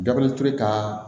Dabaliti ka